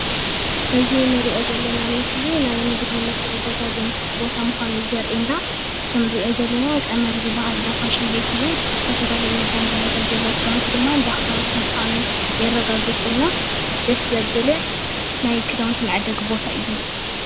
እዚ እንሪኦ ዘለና ምስሊ ናይ ንግዲ መተዓዳደጊ ቦታ ምኻኑ ዘርኢና ከም እንሪኦ ዘለና ቀመር ዝበሃል እንዳ ፋሸን ቤት እዩ፡፡ ዝተፈላለዩ ባቡላታት ዘለዎ ከዳውንቲ ድማ እንዳክዳውንቲ ምዃኑ የረጋግፀልና ደስ ዘብልን ናይ ከዳውንቲ መዐደጊ ቦታ እዩ ዝኒሄ።